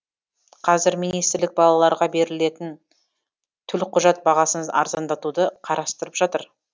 қазір министрлік балаларға берілетін төлқұжат бағасын арзандатуды қарастырып жатыр